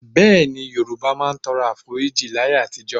Bẹ́ẹ̀ni, Yorùbá máa ń tọrọ Àforíjì láyé àtijọ́.